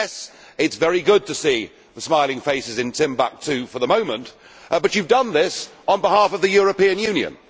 and yes, it is very good to see the smiling faces in Timbuktu for the moment, but you have done this on behalf of the European Union.